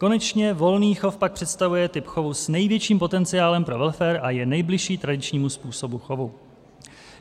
Konečně, volný chov pak představuje typ chovu s největším potenciálem pro welfare a je nejbližší tradičnímu způsobu chovu.